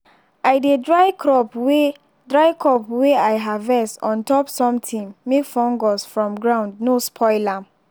i dey dry crop way dry crop way i harvest on top something make fungus from ground no spoil am.